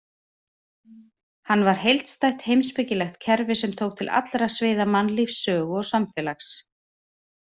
Hann var heildstætt heimspekilegt kerfi sem tók til allra sviða mannlífs, sögu og samfélags.